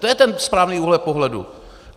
To je ten správný úhel pohledu!